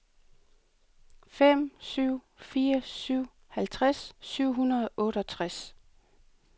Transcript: fem syv fire syv halvtreds syv hundrede og otteogtres